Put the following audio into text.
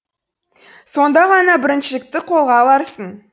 сонда ғана біріншілікті қолға аларсың